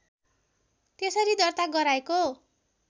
त्यसरी दर्ता गराएको